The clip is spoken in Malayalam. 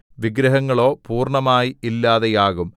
വിഗ്രഹങ്ങളോ പൂർണ്ണമായി ഇല്ലാതെയാകും